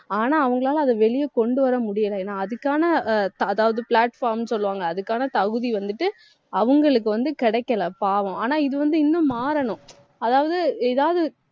ஆனா அவங்களால அதை வெளிய கொண்டு வர முடியல ஏன்னா அதுக்கான ஆஹ் த~ அதாவது platform சொல்வாங்க அதுக்கான தகுதி வந்துட்டு, அவங்களுக்கு வந்து கிடைக்கல பாவம் ஆனா, இது வந்து இன்னும் மாறணும் அதாவது எதாவது